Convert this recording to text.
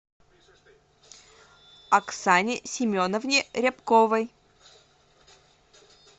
оксане семеновне рябковой